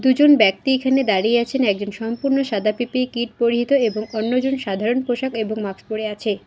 দুজন ব্যক্তি এখানে দাঁড়িয়ে আছেন একজন সম্পূর্ণ সাদা পি_পি_ই কিট পরিহিত এবং অন্যজন সাধারণ পোশাক এবং মাক্স পরে আছে।